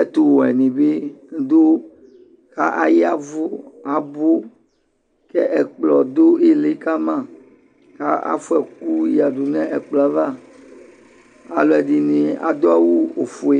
ɛtowɛ ne be do ka ayavu kɛ ɛkplɔ do ili kama ka fua ɛku yadu nɛ kplɔ ava, Alɛde ne ado awu ofue